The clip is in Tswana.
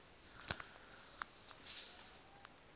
a ka kgona go dira